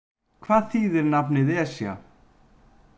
Hvað þýðir nafnið Esja?